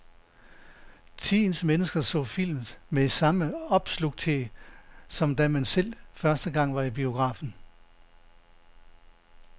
Tidens mennesker så film med samme opslugthed, som da man selv første gang var i biografen.